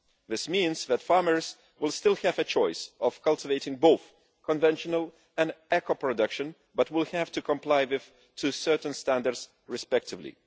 This means that farmers will still have the choice of cultivating both conventional and eco production, but will have to comply with certain standards respectively.